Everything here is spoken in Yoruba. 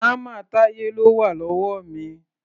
Hámà Táyé ló wà lọ́wọ́ mi.